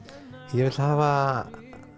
ég vil hafa